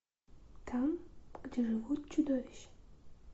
там где живут чудовища